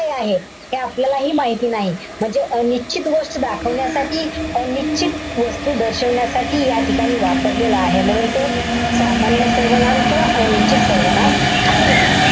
काय आहे. हे आपल्यालाहि माहिती नाही. म्हणजे अनिश्चित गोष्ट दाखवण्यासाठी, अनिश्चित वस्तू दर्शवण्यासाठी या ठिकाणी वापरलेलं आहे. म्हणून ते सामान्य सर्वनाम किंवा अनिश्चित सर्वनाम आहे.